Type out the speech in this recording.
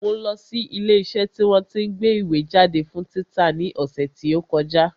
Mo lọ sí ilé iṣẹ́ tí wọ́n tí ń gbé ìwé jáde fún títa ní ọ̀sẹ̀ tí ó kọjá